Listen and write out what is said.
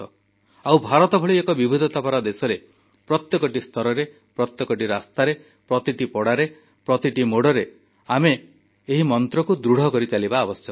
ଆଉ ଭାରତ ଭଳି ଏକ ବିବିଧତା ଭରା ଦେଶରେ ପ୍ରତ୍ୟେକଟି ସ୍ତରରେ ପ୍ରତ୍ୟେକଟି ରାସ୍ତାରେ ପ୍ରତିଟି ପଡ଼ାରେ ପ୍ରତିଟି ମୋଡ଼ରେ ଆମେ ଏହି ମନ୍ତ୍ରକୁ ଦୃଢ଼ କରିଚାଲିବା ଆବଶ୍ୟକ